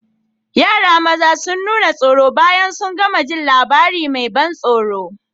Yara maza sun nuna tsoro bayan sun gama jin labarin mai ban tsoro.